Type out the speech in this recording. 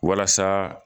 Walasa